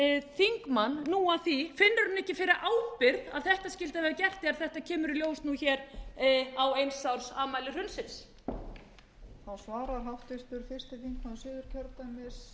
þingmann nú að því finnur hann ekki fyrir ábyrgð að þetta skyldi vera gert þegar þetta kemur í ljós á eins árs afmæli hrunsins